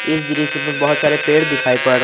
इस दृश्य में बहोत सारे पेड़ दिखाई पड़--